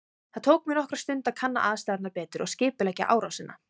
Það tók mig nokkra stund að kanna aðstæðurnar betur og skipuleggja árásina.